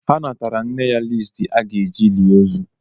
Ha natara nne ya liisti aga-eji lie ozu.